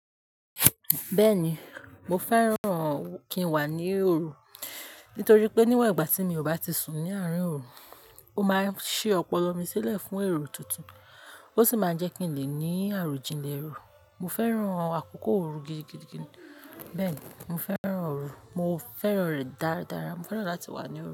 Bẹ́ẹ̀ni, mo fẹ́ràn kí n wà ní òru. Nítorí pé, níwon ìgbà tí mi ò bá ti sùn ní àárín òru, ó máa n ṣí ọpọlọ mi sílẹ̀ fún èrò tuntun, ó sì máa jẹ́ kí n lè ní àròjinlẹ̀ èrò. Mo fẹ́ràn àkókò òru gidigidigidi. Bẹ́ẹ̀ni, mo fẹ́ràn òru. Mo fẹ́ràn rẹ̀ dáradára. Mo fẹ́ràn láti wà ní òru.